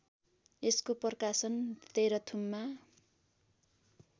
यसको प्रकाशन तेह्रथुममा